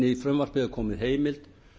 í frumvarpið er komin heimild